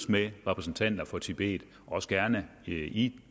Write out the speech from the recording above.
med repræsentanter for tibet også gerne i i